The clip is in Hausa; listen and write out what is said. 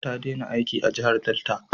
Ta dena aiki a jahar Delta